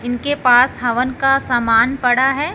इनके पास हवन का सामान पड़ा है।